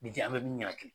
Ni ji an bɛ min yir'a kan